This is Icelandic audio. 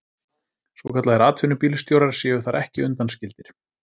Svokallaðir atvinnubílstjórar séu þar ekki undanskildir